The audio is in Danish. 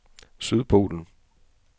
Sydpolen